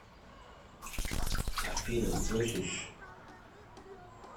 афина слышишь